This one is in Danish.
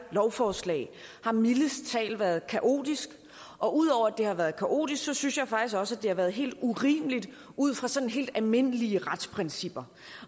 lovforslag har mildest talt været kaotisk og ud over at det har været kaotisk synes jeg faktisk også at det har været helt urimeligt ud fra sådan helt almindelige retsprincipper